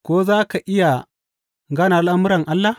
Ko za ka iya gane al’amuran Allah?